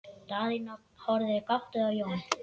Daðína horfði gáttuð á Jón.